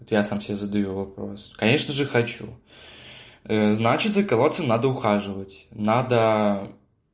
вот я сам себе задаю вопрос конечно же хочу значит за кого то надо ухаживать надо